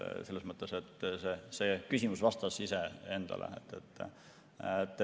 Selles mõttes see küsimus vastas ise endale.